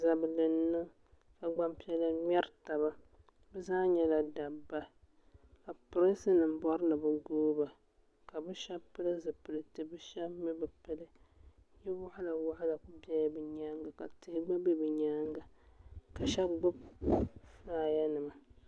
Zabili n-niŋ ka gbaŋ' piɛla ŋmɛri taba bɛ zaa nyɛla dabba ka prinsi nima bɔri ni bɛ gooi ba ka bɛ shɛba pili zupiliti ka shɛba mi bɛ pili yili waɣila waɣila kuli bela bɛ nyaaga ka tihi gba be bɛ nyaaga ka shɛba gbubi fulaaya nima.